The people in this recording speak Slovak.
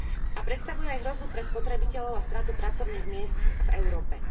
a predstavuje aj hrozbu pre spotrebiteľov a stratu pracovných miest v Európe.